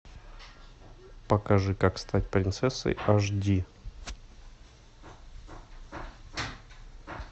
покажи как стать принцессой аш ди